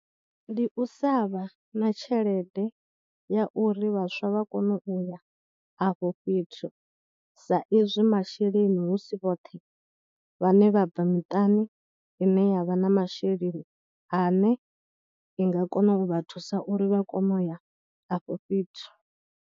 Ndi u sa vha na tshelede ya uri vhaswa vha kone uya afho fhethu saizwi masheleni hu si vhoṱhe vhane vha bva miṱani ine ya vha na masheleni ane i nga kona u vha thusa uri vha kone u ya afho fhethu.